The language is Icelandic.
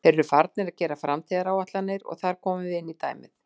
Þeir eru farnir að gera framtíðaráætlanir og þar komum við inní dæmið.